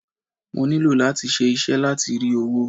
Mo nílò láti ṣe iṣẹ́ láti rí owó.